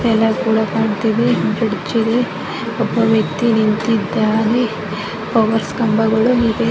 ಎಲ್ಲ ಚೆನ್ನಾಗಿ ಕಾಣುತ್ತಿವೆ. ಬ್ರಿಡ್ಜ್ ಇದೆ ಒಬ್ಬ ವ್ಯಕ್ತಿ ನಿಂತಿದ್ದಾನೆ ಪವರ್ ಕಂಬಗಳು ಇವೆ.